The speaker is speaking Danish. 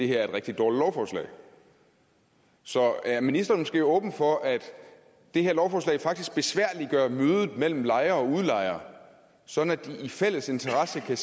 det er et rigtig dårligt lovforslag så er ministeren måske åben over for at det her lovforslag faktisk besværliggør mødet mellem lejere og udlejere sådan at de i fælles interesse kan